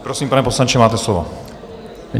Prosím, pane poslanče, máte slovo.